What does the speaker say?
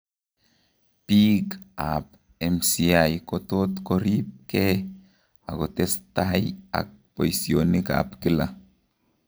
biik ab MCI kotot korib kee akotestai ak boisionik ab kila